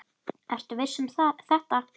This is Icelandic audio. Ertu viss um þetta?